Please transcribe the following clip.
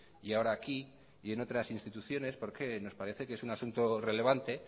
y ahora aquí y en otras instituciones porque nos parece que es un asunto relevante